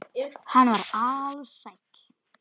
Hann var ALSÆLL.